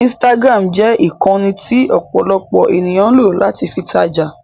Instagram jẹ ìkànnì tí ọ̀pọ̀lọpọ̀ ènìyàn ń lọ̀ láti fi tajà.